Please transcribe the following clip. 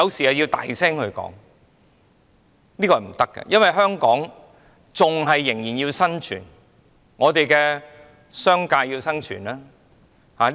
這是不可行的，因為香港仍要生存，商界也要生存。